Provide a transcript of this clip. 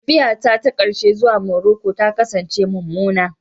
Tafiyata ta ƙarshe zuwa Maroko ta kasance mummuna.